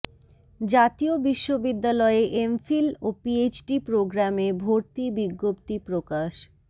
জাতীয় বিশ্ববিদ্যালয়ে এমফিল ও পিএইচডি প্রোগ্রামে ভর্তি বিজ্ঞপ্তি প্রকাশ